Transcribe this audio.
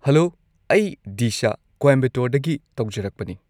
Hello! ꯑꯩ ꯗꯤꯁꯥ ꯀꯣꯏꯝꯕꯇꯣꯔꯗꯒꯤ ꯇꯧꯖꯔꯛꯄꯅꯤ ꯫